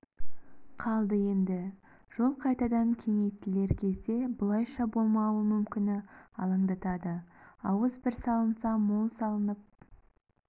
қалды енді жол қайтадан кеңейтілер кезде бұлайша болмауы мүмкіні алаңдатады ауыз бір салынса мол салынып